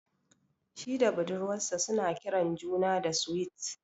Shi da budurwar sa su na kiran juna da "Sweet ".